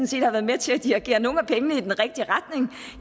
set har været med til at dirigere nogle af pengene i den rigtige retning